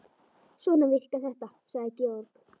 Svona virkar þetta, sagði Georg.